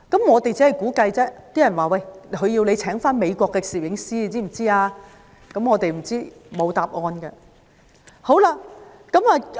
我們估計，他們是想我們聘用美國的攝影師，但答案不得而知。